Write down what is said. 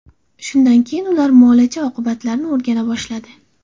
Shundan keyin ular muolaja oqibatlarini o‘rgana boshladi.